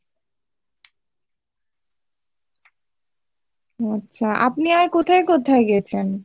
আচ্ছা আপনি আর কোথায় কোথায় গেছেন?